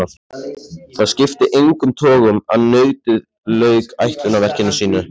Það skipti engum togum að nautið lauk ætlunarverki sínu.